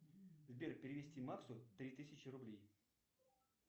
сбер перевести максу три тысячи рублей